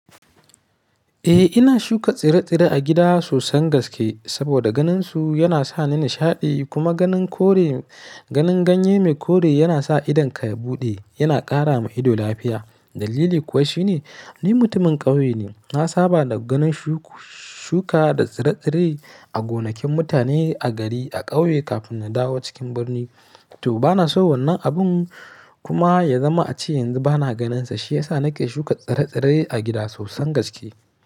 Eh ina shuka tsire-tsire a gida sosan gaske saboda ganinsu yana sa ni nishaɗi kuma ganin ganye mai kore yana sa idonka ya buɗe, yana ƙara ma ido lafiya. Dalili kuwa shine ni mutumin ƙauye ne, na saba da ganin shuka da tsire-tsire a gonakin mutane a gari a ƙauye kafin na dawo cikin birni. To bana so wannan abun kuma ya zama a ce yanzu bana ganinsa shiyasa nake shuka tsire-tsire a gida sosan gaske.